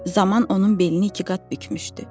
Zaman onun belini ikiqat bükmüşdü.